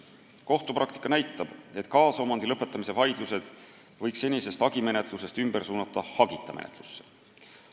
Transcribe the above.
Kohtupraktika näitab, et kaasomandi lõpetamise vaidlused võiks senisest hagimenetlusest ümber suunata hagita menetlusse.